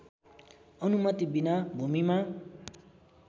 अनुमति बिना भूमिमा